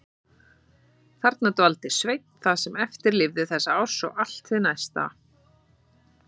Þarna dvaldi Sveinn það sem eftir lifði þessa árs og allt hið næsta.